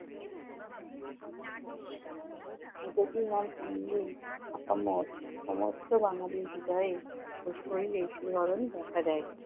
নেতাজী নাম শুনলেই আপামর সমস্ত বাঙ্গালীর হৃদয়ে ও শরীরে শিহরণ দেখা যায়।